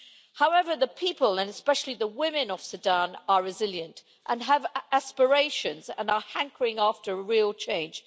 However, the people, and especially the women, of Sudan are resilient and have aspirations and are hankering after real change.